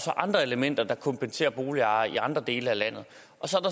andre elementer der kompenserer boligejere i andre dele af landet